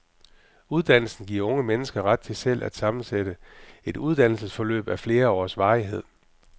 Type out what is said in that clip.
Uddannelsen giver unge mennesker ret til selv at sammensætte et uddannelsesforløb af flere års varighed.